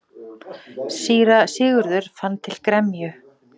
Síra Sigurður fann til gremju.